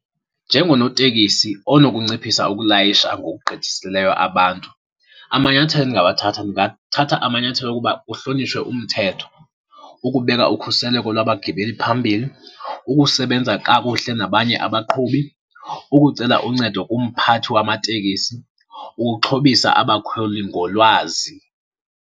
Njengonotekisi onokunciphisa ukulayisha ngokugqithisileyo abantu, amanyathelo endingawathatha, ndingathatha amanyathelo okuba kuhlonitshwe umthetho, ukubeka ukhuseleko lwabagibeli phambili, ukusebenza kakuhle nabanye abaqhubi, ukucela uncedo kumphathi wamatekisi, ukuxhobisa abakhweli ngolwazi.